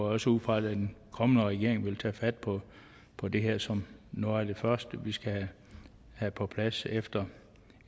også ud fra at den kommende regering vil tage fat på på det her som noget af det første vi skal have på plads efter